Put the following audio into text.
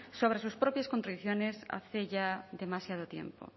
sobre sus propias contradicciones hace ya demasiado tiempo